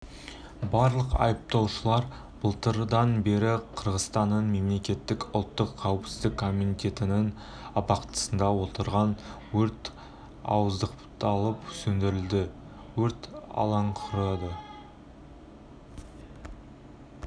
барлық айыпталушылар былтырдан бері қырғызстанның мемлекеттік ұлттық қауіпсіздік комитетінің абақтысында отырған өрт ауыздықталып сөндірілді өрт алаңықұрады